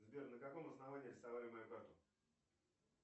сбер на каком основании арестовали мою карту